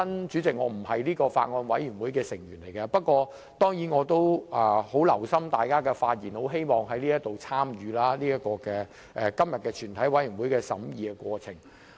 主席，我並非相關法案委員會的委員，但我也很留心聽大家的發言，很希望參與今天全體委員會的審議過程。